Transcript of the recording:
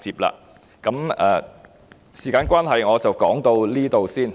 由於時間關係，我的發言到此為止。